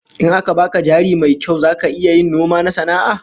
In aka baka jari mai kyau zaka iya yin noma na sana'a?